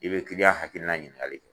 I bɛ kiliyan hakilina ɲiningali kɛ